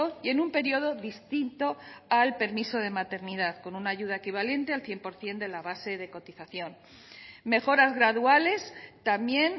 y en un periodo distinto al permiso de maternidad con una ayuda equivalente al cien por ciento de la base de cotización mejoras graduales también